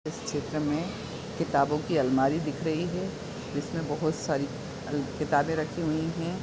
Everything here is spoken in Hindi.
इस चित्र में किताबों की अलमारी दिख रही है जिसमे बहुत सारी अल-किताबे रखी हुई हैं।